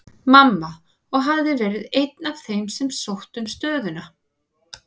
Mamma, og hafði verið einn af þeim sem sóttu um stöðuna.